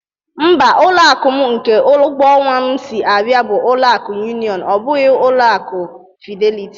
Mba, ụlọ akụ m nke ụgwọ ọnwa m si abịa, bụ ọlụ akụ yunion, ọ bụghị ọlụ akụ Fideliti